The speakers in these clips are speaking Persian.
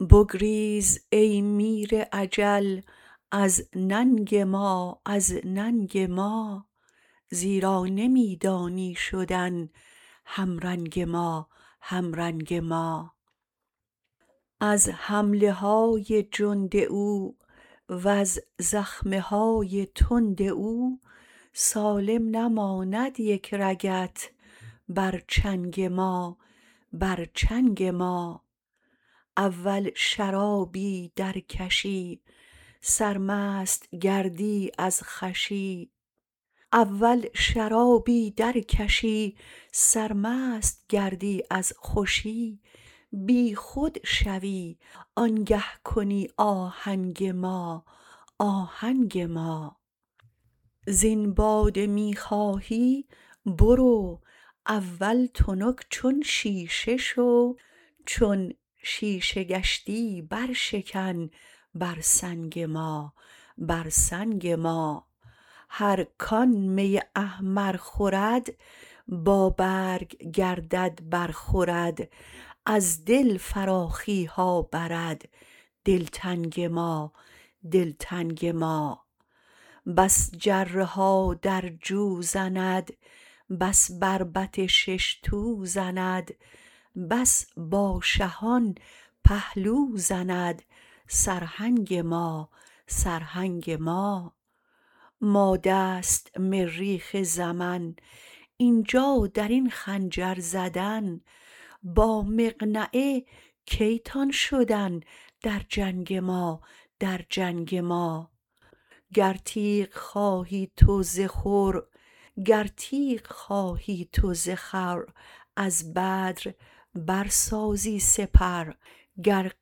بگریز ای میر اجل از ننگ ما از ننگ ما زیرا نمی دانی شدن همرنگ ما همرنگ ما از حمله های جند او وز زخم های تند او سالم نماند یک رگت بر چنگ ما بر چنگ ما اول شرابی درکشی سرمست گردی از خوشی بیخود شوی آنگه کنی آهنگ ما آهنگ ما زین باده می خواهی برو اول تنک چون شیشه شو چون شیشه گشتی برشکن بر سنگ ما بر سنگ ما هر کان می احمر خورد بابرگ گردد برخورد از دل فراخی ها برد دلتنگ ما دلتنگ ما بس جره ها در جو زند بس بربط شش تو زند بس با شهان پهلو زند سرهنگ ما سرهنگ ما ماده است مریخ زمن این جا در این خنجر زدن با مقنعه کی تان شدن در جنگ ما در جنگ ما گر تیغ خواهی تو ز خور از بدر برسازی سپر گر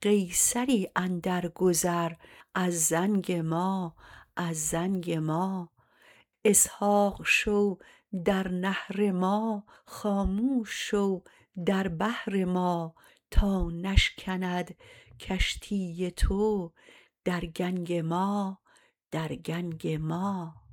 قیصری اندرگذر از زنگ ما از زنگ ما اسحاق شو در نحر ما خاموش شو در بحر ما تا نشکند کشتی تو در گنگ ما در گنگ ما